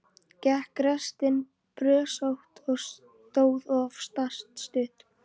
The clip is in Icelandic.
Gekk reksturinn brösótt og stóð oftast stutt.